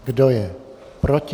Kdo je proti?